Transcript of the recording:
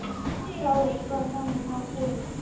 Þá var honum nóg boðið.